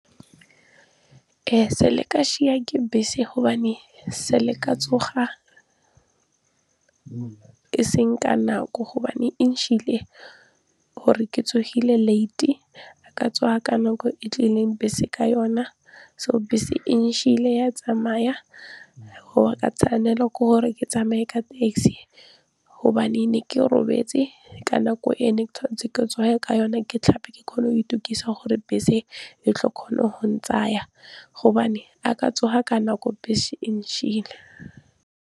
Sale ka ke bese gobane sa le ka tsoga e seng ka nako gobane gore ke tsogile late ga ka tsoga ka nako e tlileng bese ka yona so bese e ya tsamaya go ba ka tshwanela ke gore ke tsamaye ka taxi hobane ne ke robetse ka nako e ne tshwanetse ke tsoge ka yona ke tlhape ke kgona go itukisa gore bese e tlo kgona go ntsaya gobane a ka tsoga ka nako bese e .